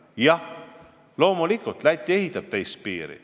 Jah, loomulikult, Läti ehitab teistsugust piiri.